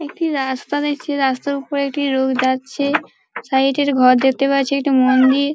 একটি রাস্তা দেখছি রাস্তার ওপরে একটি লোক যাচ্ছে সাইড এর ঘর দেখতে পাচ্ছি একটি মন্দির।